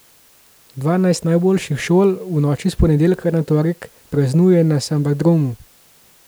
Dvanajst najboljših šol v noči s ponedeljka na torek praznuje na Sambadromu.